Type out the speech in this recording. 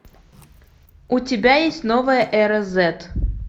у тебя есть новая эра зет